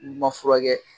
N'i ma furakɛ